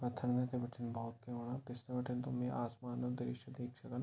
यि पत्थर वेथ बटी भौत बड़ा पिछने बटी तुम यि असमान क दृशय देख सका ।